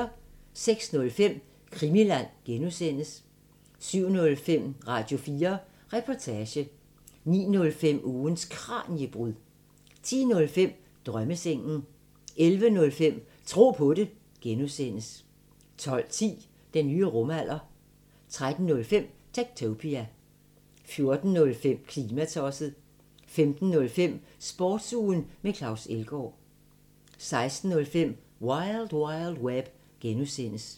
06:05: Krimiland (G) 07:05: Radio4 Reportage 09:05: Ugens Kraniebrud 10:05: Drømmesengen 11:05: Tro på det (G) 12:10: Den nye rumalder 13:05: Techtopia 14:05: Klimatosset 15:05: Sportsugen med Claus Elgaard 16:05: Wild Wild Web (G)